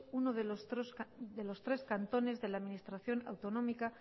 uno de los tres cantones de la administración autonómica